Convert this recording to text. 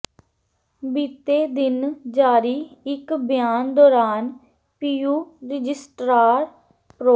ਬੀਤੇ ਦਿਨ ਜਾਰੀ ਇਕ ਬਿਆਨ ਦੌਰਾਨ ਪੀਯੂ ਰਜਿਸਟਰਾਰ ਪ੍ਰੋ